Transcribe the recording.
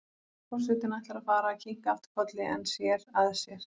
Forsetinn ætlar að fara að kinka aftur kolli en sér að sér.